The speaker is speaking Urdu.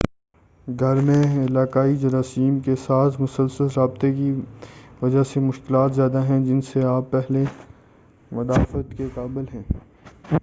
گھر میں علاقائی جراثیم کے ساتھ مسلسل رابطے کی وجہ سے مشکلات زیادہ ہیں جن سے آپ پہلے مدافعت کے قابل ہیں